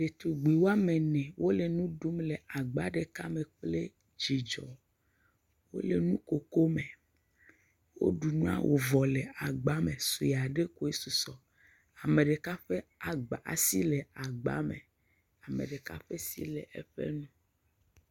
Ɖetugbui woame ene, wole nu ɖum le agba ɖeka me kple dzidzɔ, wole nukoko me, woɖu nua wòvɔ le agba me, sue aɖe koe susɔ, ame ɖeka ƒe asi le agba me, ame ɖeka ƒe asi le eƒe nu.